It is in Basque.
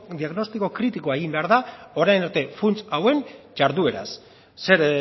diagnostiko kritikoa egin behar da orain arte funts hauen ihardueraz zer